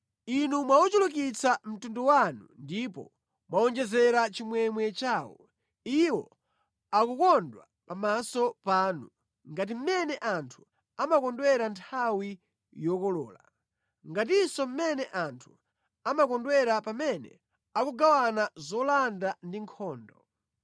Inu mwauchulukitsa mtundu wanu ndipo mwawonjezera chimwemwe chawo. Iwo akukondwa pamaso panu, ngati mmene anthu amakondwera nthawi yokolola, ngatinso mmene anthu amakondwera pamene akugawana zolanda ku nkhondo.